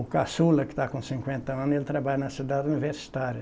O Caçula que está com cinquenta anos, ele trabalha na cidade universitária.